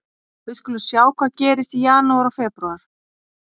Við skulum sjá hvað gerist í janúar og febrúar.